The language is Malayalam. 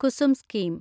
കുസും സ്കീം